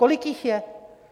Kolik jich je?